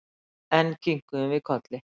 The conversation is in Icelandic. Enn kinkuðum við kolli.